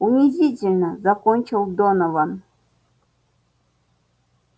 унизительно закончил донован